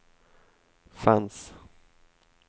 fanns